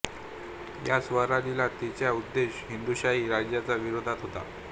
या स्वारीचा त्याचा उद्देश हिंदुशाही राज्याच्या विरोधात होता